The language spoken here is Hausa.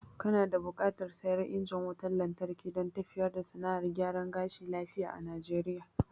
Kana da buƙatar siyan injin wutan lantarki dan tafiyar da sana'ar gyaran gashi lafiya a najeriya